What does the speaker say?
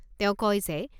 তেওঁ কয় যে